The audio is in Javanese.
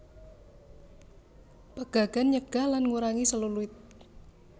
Pegagan nyegah lan ngurangi selulit